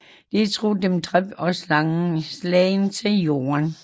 De tror Dem dræbt og slagen til Jorden